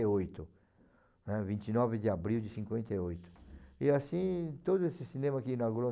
oito, né, vinte e nove de abril de cinquenta e oito. E assim, todo esse cinema que inaugurou